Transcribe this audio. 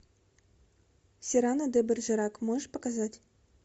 сирано де бержерак можешь показать